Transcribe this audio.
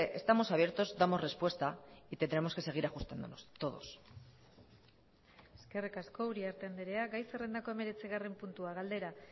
estamos abiertos damos respuesta y tendremos que seguir ajustándonos todos eskerrik asko uriarte andrea gai zerrendako hemeretzigarren puntua galdera